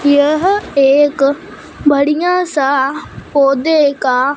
यह एक बढ़िया सा पौधे का--